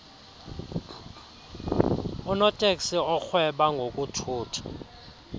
unoteksi orhweba ngokuthutha